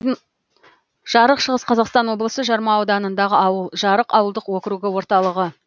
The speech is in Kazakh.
жарық шығыс қазақстан облысы жарма ауданындағы ауыл жарық ауылдық округі орталығы